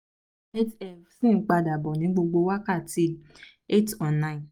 8 f) sì ń padà bọ̀ ní gbogbo wákàtí 8-9